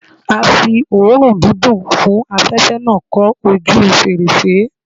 A fi oòrùn dídùn fún afẹ̀fẹ́ náà kọ́ ojúu fèrèsé.